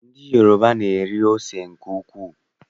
Ndị Yoroba na-eri ose nke ukwuu.